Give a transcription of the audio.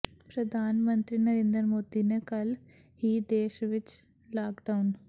ਪ੍ਰਧਾਨ ਮੰਤਰੀ ਨਰਿੰਦਰ ਮੋਦੀ ਨੇ ਕੱਲ੍ਹ ਹੀ ਦੇਸ਼ ਵਿਚ ਲਾਕਡਾਊਨ